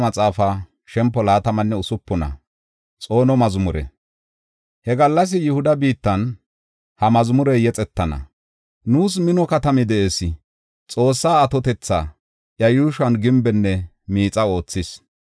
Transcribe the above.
He gallas Yihuda biittan ha mazmurey yexetana. Nuus mino katami de7ees; Xoossay atotetha iya yuushuwan gimbenne miixa oothis.